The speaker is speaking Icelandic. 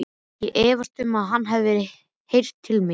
Ég efast um, að hann hafi heyrt til mín.